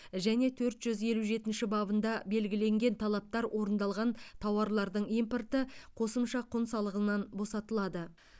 және төрт жүз елу жетінші бабында белгіленген талаптар орындалған тауарлардың импорты қосымша құн салығынан босатылады